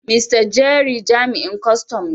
Mr.Jerry jami'in kwastan ne.